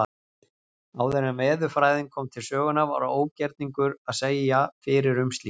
Áður en veðurfræðin kom til sögunnar var ógerningur að segja fyrir um slíkt.